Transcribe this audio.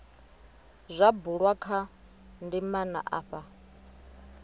zwa bulwa kha ndimana afha